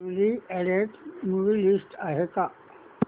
newly added movie list आहे का